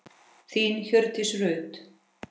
Þín, Hjördís Rut.